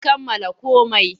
Mun kammala komai.